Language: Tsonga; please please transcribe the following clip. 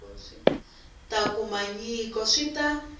ta kuma nyiko swi ta